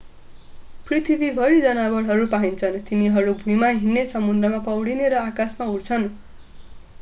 पृथ्वीभरि जनावरहरू पाइन्छन्। तिनीहरू भुइँमा हिड्ने समुद्रमा पौडिने र आकाशमा उड्छन्‌।